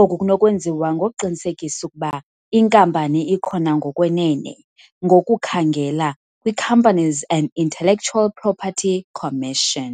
Oku kunokwenziwa ngokuqinisekisa ukuba inkampani ikhona ngokwenene ngokukhangela kwi-Companies and Intellectual Property Commission.